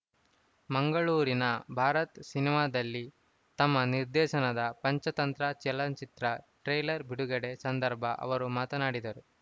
ಮಂಗಳೂರಿನ ಭಾರತ್‌ ಸಿನಿಮಾದಲ್ಲಿ ತಮ್ಮ ನಿರ್ದೇಶನದ ಪಂಚತಂತ್ರ ಚಲನಚಿತ್ರಟ್ರೈಲರ್ ಬಿಡುಗಡೆ ಸಂದರ್ಭ ಅವರು ಮಾತನಾಡಿದರು